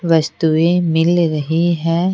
वस्तुएं मिल रही है।